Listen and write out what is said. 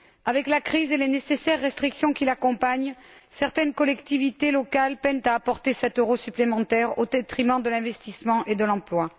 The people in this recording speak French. Avec la crise et les nécessaires restrictions qui l'accompagnent, certaines collectivités locales peinent à apporter cet euro supplémentaire au détriment de l'investissement et de l'emploi.